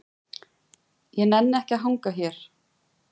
Ég nenni ekki að hanga hér.